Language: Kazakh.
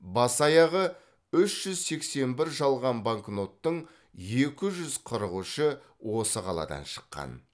бас аяғы үш жүз сексен бір жалған банкноттың екі жүз қырық үші осы қаладан шыққан